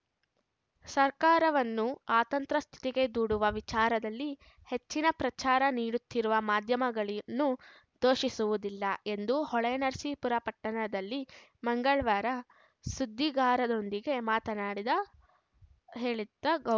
ಸರ್ಕಾರವನ್ನು ಅತಂತ್ರ ಸ್ಥಿತಿಗೆ ದೂಡುವ ವಿಚಾರದಲ್ಲಿ ಹೆಚ್ಚಿನ ಪ್ರಚಾರ ನೀಡುತ್ತಿರುವ ಮಾಧ್ಯಮಗಳನ್ನೂ ದೂಷಿಸುವುದಿಲ್ಲ ಎಂದು ಹೊಳೆನರಸೀಪುರ ಪಟ್ಟಣದಲ್ಲಿ ಮಂಗಳವಾರ ಸುದ್ದಿಗಾರರೊಂದಿಗೆ ಮಾತನಾಡಿದ ಹೇಳಿದ್ದ ಗೌ